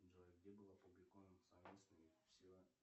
джой где был опубликован совместный